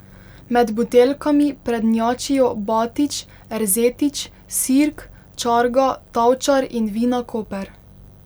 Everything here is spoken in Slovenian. Med buteljkami prednjačijo Batič, Erzetič, Sirk, Čarga, Tavčar in Vina Koper.